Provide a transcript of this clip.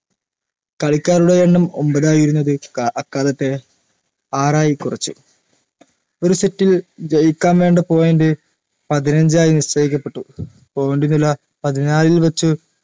കളിക്കാരുടെ എണ്ണം ഒമ്പതായിരുന്നത് ക അക്കാലത്തെ ആറായി കൊറച്ചു ഒരു sit ൽ ജയിക്കാൻ വേണ്ട point പതിനഞ്ചായി നിശ്ചയിക്കപ്പെട്ടു point നില പതിനാലിൽ വെച്ച്